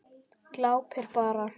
Glápir bara.